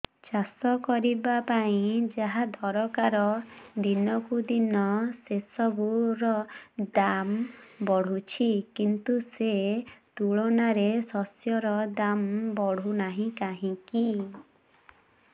ଚାଷ କରିବା ପାଇଁ ଯାହା ଦରକାର ଦିନକୁ ଦିନ ସେସବୁ ର ଦାମ୍ ବଢୁଛି କିନ୍ତୁ ସେ ତୁଳନାରେ ଶସ୍ୟର ଦାମ୍ ବଢୁନାହିଁ କାହିଁକି